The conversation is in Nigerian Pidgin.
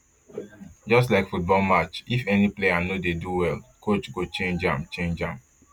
just like football match if any player no dey do well coach go change am change am